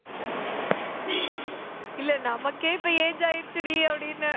இல்ல நமக்கே இப்ப age ஆயிருச்சுடி அப்படின்னேன்